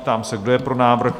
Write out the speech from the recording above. Ptám se, kdo je pro návrh?